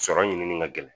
Sɔrɔ ɲinini ka gɛlɛn